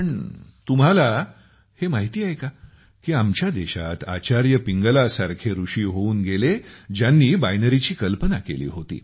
पण तुम्हाला माहिती आहे का की आमच्या देशात आचार्य पिंगला सारखे ऋषि होऊन गेले ज्यांनी बायनरी ची कल्पना केली होती